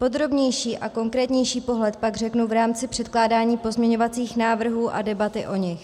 Podrobnější a konkrétnější pohled pak řeknu v rámci předkládání pozměňovacích návrhů a debaty o nich.